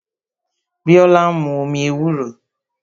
Biola ń mu omi ewúro